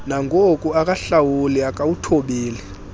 nangoku akahlawuli akawuthobeli